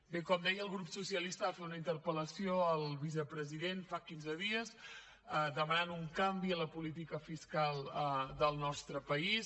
bé com deia el grup socialista va fer una interpel·lació al president fa quinze dies per demanar un canvi en la política fiscal del nostre país